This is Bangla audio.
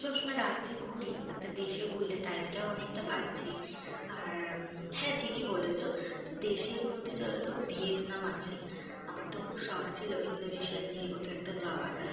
আমরা সবসময় রাজ্যে ঘুরি। একটা দেশে ঘুরলে, time টাও অনেকটা পাচ্ছি। আর হ্যাঁ ঠিকই বলেছো। তো দেশের মধ্যে চলো। দেখ ভিয়েতনাম আছে, আমার তো খুব শখ ছিল ইন্দোনেশিয়ার দিকে কোথাও একটা যাওয়ার।